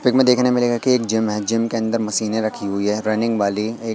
pick मे दिखने मिलेगा की एक जिम है जिम के अंदर मशीनें रखी हुई है रनिंग वाली एक--